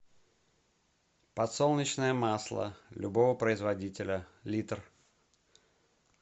подсолнечное масло любого производителя литр